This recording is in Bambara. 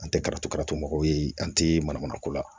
An tɛ karatu karatmɔgɔ ye an tɛ mana mana ko la